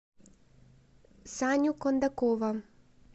саню кондакова